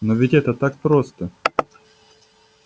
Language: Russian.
но ведь это так просто